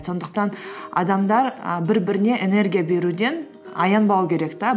сондықтан адамдар і бір біріне энергия беруден аянбау керек те